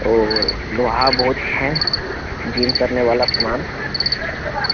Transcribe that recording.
और लोहा बहुत है जिम करने वाला सामान --